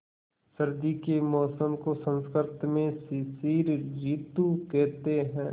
सर्दी के मौसम को संस्कृत में शिशिर ॠतु कहते हैं